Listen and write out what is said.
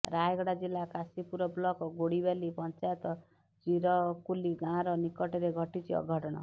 ରାୟଗଡା ଜିଲ୍ଲା କାଶୀପୁର ବ୍ଲକ ଗୋଡିବାଲି ପଞ୍ଚାୟତ ଚିରକୁଲି ଗାଁର ନିକଟରେ ଘଟିଛି ଅଘଟଣ